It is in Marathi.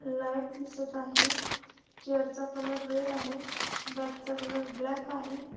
लाइट दिसत आहे. चेअर चा कलर रेड आहे. बॅग चा कलर ब्लॅक आहे.